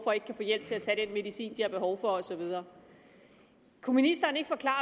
og ikke kan få hjælp til at tage den medicin de har behov for og så videre kunne ministeren ikke forklare